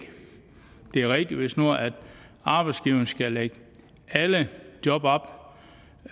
det er rigtigt hvis nu arbejdsgiverne skal lægge alle job op